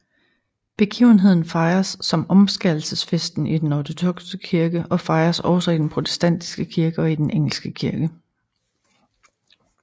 Begivenheden fejres som omskærelsesfesten i den ortodokse kirke og fejres også i den protestantiske kirke og i Den engelske kirke